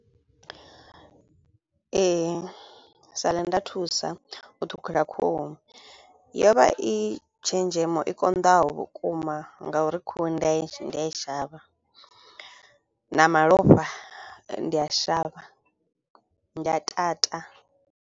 Ee nda thusa u ṱhukhula khuhu. Yo vha i tshenzhemo i konḓaho vhukuma nga uri khuhu ndi a ndi a i shavha na malofha ndi a shavha, ndi a tata.